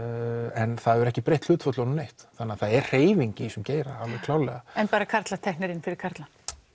en það hefur ekki breytt hlutföllunum neitt það er hreyfing í þessum geira alveg klárlega en bara karlar teknir inn fyrir karla